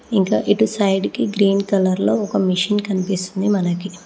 ఇంకా ఇటు సైడ్ కి గ్రీన్ కలర్లో ఒక మిషిన్ కనిపిస్తుంది మనకి.